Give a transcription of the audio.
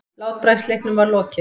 Látbragðsleiknum var lokið.